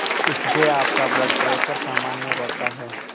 इससे आपका blood pressure सामान्य रहता है